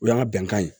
O y'an ka bɛnkan ye